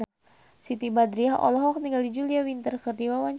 Siti Badriah olohok ningali Julia Winter keur diwawancara